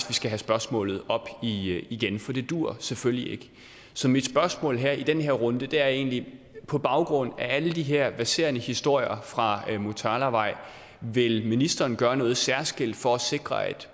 vi skal have spørgsmålet op igen for det duer selvfølgelig ikke så mit spørgsmål her i den her runde er egentlig på baggrund af alle de her verserende historier fra motalavej vil ministeren så gøre noget særskilt for at sikre at